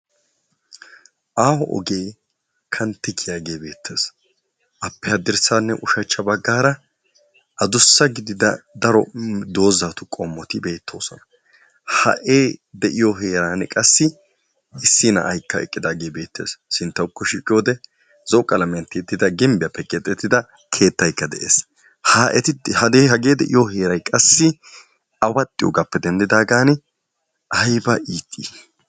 Aaho ogee kanttissiyagee beettees. Appe haddirssaanne ushachcha baggaara adussa gidida daro doozzatu qommoti beettoosona. Ha I de'iyo heeran qassi issi na'aykka eqqidaagee beettees. Sinttawukko shiiqiyode gimbbiyappe keexettida keettaykka beettees. Hageeti ha I de'iyo heeray qassi awaxxiyogaappe denddidaagan ayba lo'ii?